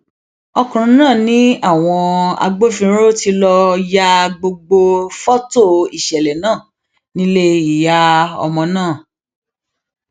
ọkùnrin náà ni àwọn agbófinró tí lọọ ya gbogbo fọtò ìṣẹlẹ náà nílé ìyá ọmọ ọhún